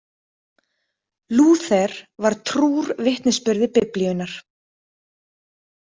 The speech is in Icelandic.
Lúther var trúr vitnisburði Biblíunnar.